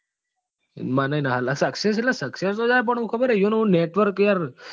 મને ય નથી success એટલે success તો જાય પણ હું ખબર કે એમનું network યાર.